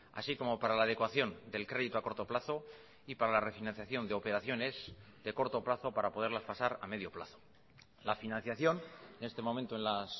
así como para la adecuación del crédito a corto plazo y para la refinanciación de operaciones de corto plazo para poderlas pasar a medio plazo la financiación en este momento en las